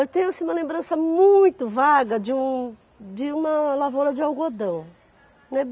Eu tenho assim uma lembrança muito vaga de um de uma lavoura de algodão, né?